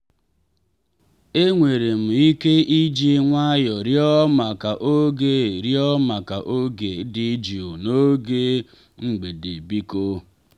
e nwere m ike iji nwayọ rịọ maka oge rịọ maka oge dị jụụ n'oge mgbedebiko?